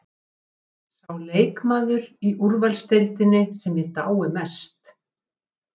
Sá leikmaður í úrvalsdeildinni sem ég dái mest?